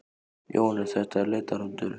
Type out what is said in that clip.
Jóhannes: Þetta er leitarhundur?